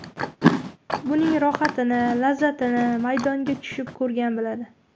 Buning rohatini, lazzatini maydonga tushib ko‘rgan biladi.